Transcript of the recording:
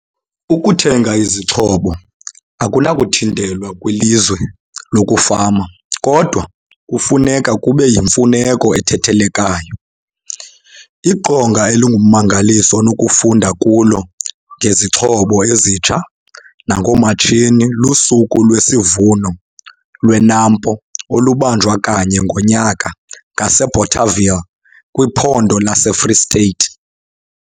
Ukuthenga izixhobo akunakuthintelwa kwilizwe lokufama KODWA kufuneka kube yimfuneko ethethelekayo. Iqonga elingummangaliso onokufunda kulo ngezixhobo ezitsha nangoomatshini luSuku lwesiVuno lweNAMPO olubanjwa kanye ngonyaka ngaseBothaville kwiPhondo laseFree State.